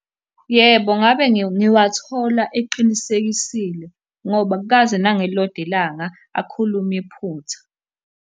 Yebo, ngabe ngiwathola eqinisekisile, ngoba akukaze nangelilodwa ilanga akhulume iphutha.